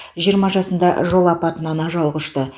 жиырма жасында жол апатынан ажал құшты